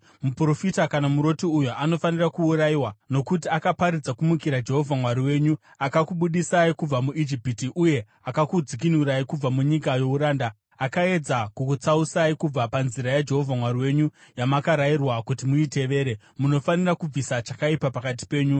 Muprofita kana muroti uyo anofanira kuurayiwa, nokuti akaparidza kumukira Jehovha Mwari wenyu, akakubudisai kubva muIjipiti uye akakudzikinurai kubva munyika youranda; akaedza kukutsausai kubva panzira yaJehovha Mwari wenyu yamakarayirwa kuti muitevere. Munofanira kubvisa chakaipa pakati penyu.